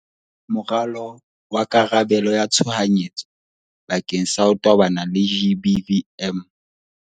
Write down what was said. Moralo wa karabelo ya tshohanyetso bakeng sa ho tobana le GBVM